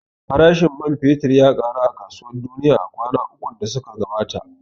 Farashin man fetur ya ƙaru a kasuwar duniya a kwana ukun da suka gabata